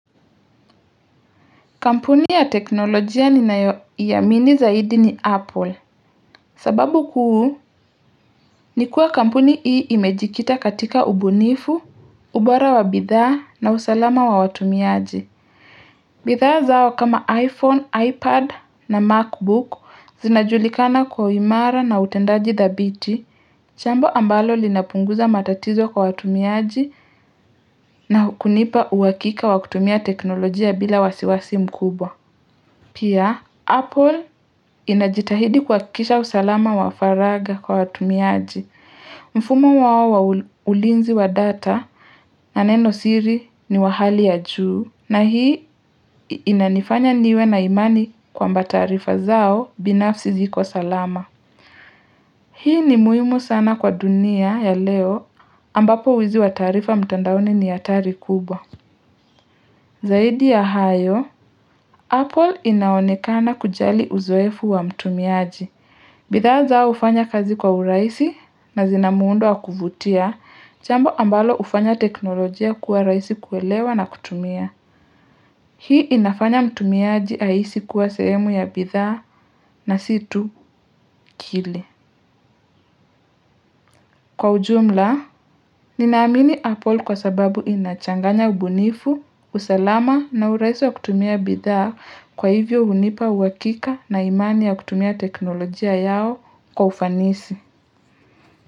Kampuni ya teknolojia ninayoiamini zaidi ni Apple, sababu kuu ni kuwa kampuni hii imejikita katika ubunifu, ubora wa bidhaa na usalama wa watumiaji. Bidhaa zao kama iPhone, iPad na MacBook zinajulikana kwa uimara na utendaji dhabiti, jambo ambalo linapunguza matatizo kwa watumiaji na kunipa uhakika wa kutumia teknolojia bila wasiwasi mkubwa. Pia, Apple inajitahidi kuhakisha usalama wa faragha kwa watumiaji. Mfumo wao wa ulinzi wa data na neno siri ni wa hali ya juu na hii inanifanya niwe na imani kwamba taarifa zao binafsi ziko salama. Hii ni muhimu sana kwa dunia ya leo ambapo wizi wa taarifa mtandaoni ni hatari kubwa. Zaidi ya hayo, Apple inaonekana kujali uzoefu wa mtumiaji. Bidha zao ufanya kazi kwa urahisi na zinamuundo wa kuvutia jambo ambalo ufanya teknolojia kuwa rahisi kuelewa na kutumia. Hii inafanya mtumiaji ahisi kuwa sehemu ya bidha na si tu kile. Kwa ujumla, ninaamini Apple kwa sababu inachanganya ubunifu, usalama na urahisi wa kutumia bidhaa kwa hivyo unipa uhakika na imani ya kutumia teknolojia yao kwa ufanisi.